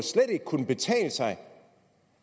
kunne betale sig